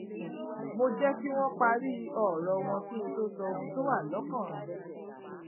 mo jé kí wón parí òrò wọn kí n tó sọ ohun tó wà lókàn